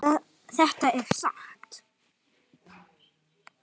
Þetta er satt!